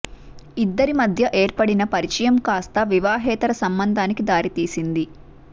ఇద్దరి మధ్య ఏర్పడిన పరిచయం కాస్త వివాహేతర సంబంధానికి దారి తీసింది